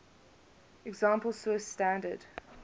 example swiss standard